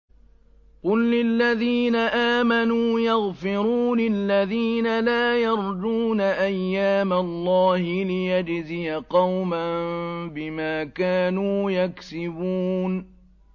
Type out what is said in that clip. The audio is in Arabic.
قُل لِّلَّذِينَ آمَنُوا يَغْفِرُوا لِلَّذِينَ لَا يَرْجُونَ أَيَّامَ اللَّهِ لِيَجْزِيَ قَوْمًا بِمَا كَانُوا يَكْسِبُونَ